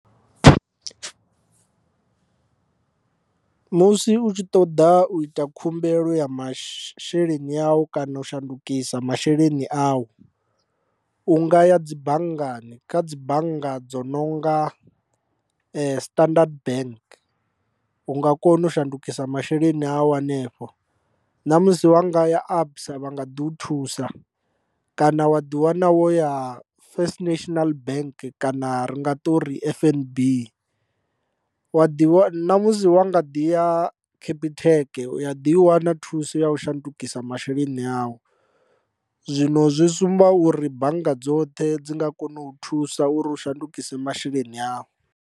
Musi u tshi ṱoḓa u ita khumbelo ya masheleni awu kana u shandukisa masheleni awu u nga ya dzi banngani kha dzi bannga dzo nonga Standard Bank u nga kona u shandukisa masheleni awu hanefho, ṋamusi wa nga ya a ABSA vha nga ḓi thusa kana wa ḓi wana wo ya First National Bank kana ri nga ṱori F_N_B wa ḓi wa, ṋamusi wa nga ḓi ya capitec u a ḓi i wana thuso ya u shandukisa masheleni awu zwino zwi sumba uri bannga dzoṱhe dzi nga kona u thusa uri shandukise masheleni awu.